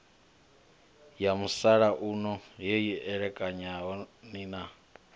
ya musalauno heyi elekanyani ni